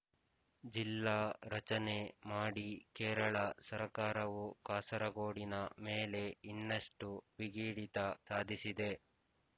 ಜಿಲ್ಲಾ ರಚನೆ ಮಾಡಿ ಕೇರಳ ಸರಕಾರವು ಕಾಸರಗೋಡಿನ ಮೇಲೆ ಇನ್ನಷ್ಟು ಬಿಗಿಹಿಡಿತ ಸಾಧಿಸಿದೆ